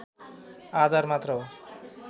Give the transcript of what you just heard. आधार मात्र हो